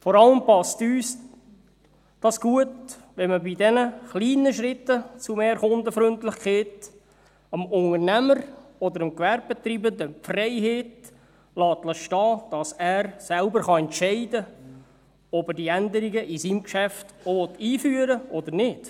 Vor allem passt es uns gut, wenn man bei den kleinen Schritten zu mehr Kundenfreundlichkeit dem Unternehmer oder dem Gewerbetreibenden die Freiheit lässt, dass er selber entscheiden kann, ob er die Änderungen in seinem Geschäft einführen will oder nicht.